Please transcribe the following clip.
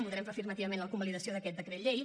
votarem afirmativament la convalidació d’aquest decret llei